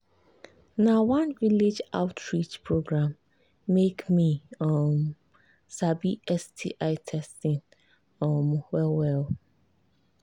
na one village outreach program make me um sabi sti testing um well well